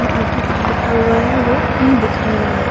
और भी कुछ लिखा हुआ है ओ नही दिख रहा है।